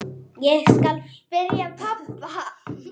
Ég skal spyrja pabba.